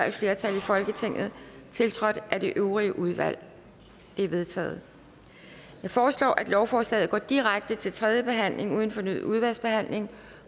et flertal i folketinget tiltrådt af det øvrige udvalg de er vedtaget jeg foreslår at lovforslaget går direkte til tredje behandling uden fornyet udvalgsbehandling